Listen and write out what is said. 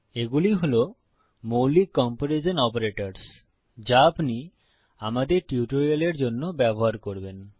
এগুলি হল মৌলিক কম্পেরিজন অপারেটরস যা আপনি আমাদের টিউটোরিয়ালের জন্য ব্যবহার করবেন